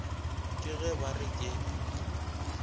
ke ge ba re ke